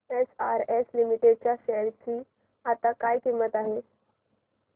SRS लिमिटेड च्या शेअर ची आता काय किंमत आहे